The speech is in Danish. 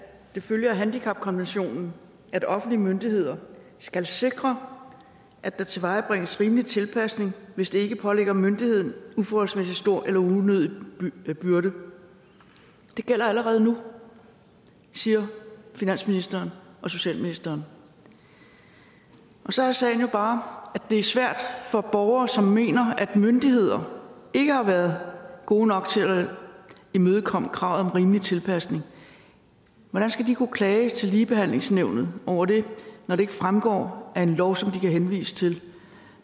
det følger af handicapkonventionen at offentlige myndigheder skal sikre at der tilvejebringes rimelig tilpasning hvis det ikke pålægger myndigheden uforholdsmæssig stor eller unødig byrde det gælder allerede nu siger finansministeren og socialministeren så er sagen jo bare at det er svært for borgere som mener at myndigheder ikke har været gode nok til at imødekomme kravet om rimelig tilpasning hvordan skal de kunne klage til ligebehandlingsnævnet over det når det ikke fremgår af en lov som de kan henvise til